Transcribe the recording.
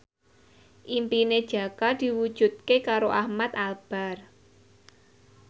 impine Jaka diwujudke karo Ahmad Albar